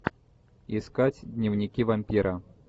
искать дневники вампира